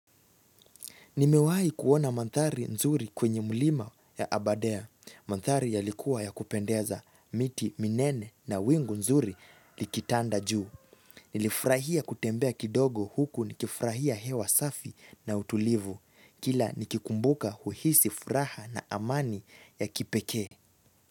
Nimewahi kuona mandhari nzuri kwenye mulima ya aberdare. Mandhari yalikuwa ya kupendeza, miti, minene na wingu nzuri likitanda juu. Nilifurahia kutembea kidogo huku nikifurahia hewa safi na utulivu. Kila nikikumbuka uhisi furaha na amani ya kipekee.